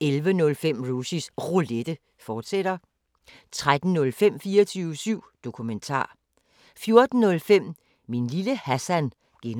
11:05: Rushys Roulette, fortsat 13:05: 24syv Dokumentar 14:05: Min lille Hassan (G)